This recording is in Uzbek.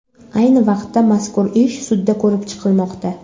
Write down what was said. Ayni vaqtda mazkur ish sudda ko‘rib chiqilmoqda.